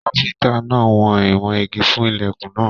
Káfíntà náà wọn ìwọ̀n ìgi fún ilẹkùn náà.